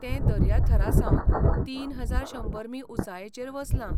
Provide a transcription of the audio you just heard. तें दर्याथरासावन तीन हजार शंबर मी. उंचायेचर वसलां.